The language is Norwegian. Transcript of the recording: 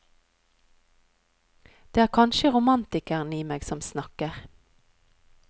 Det er kanskje romantikeren i meg som snakker.